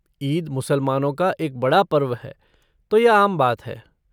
ईद मुसलमानों का एक बड़ा पर्व है तो यह आम बात है।